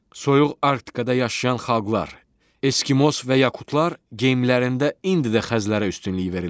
Soyuq Arktikada yaşayan xalqlar, Eskimos və yakutlar geyimlərində indi də xəzlərə üstünlük verirlər.